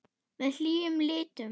Með hlýjum litum.